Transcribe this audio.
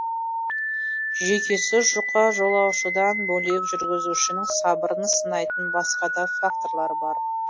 жүйкесі жұқа жолаушыдан бөлек жүргізушінің сабырын сынайтын басқа да факторлар бар